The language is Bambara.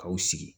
K'aw sigi